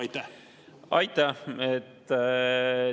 Aitäh!